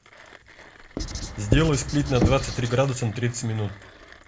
сделай сплит на двадцать три градуса на тридцать минут